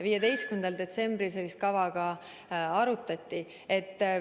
15. detsembril seda kava ka arutati.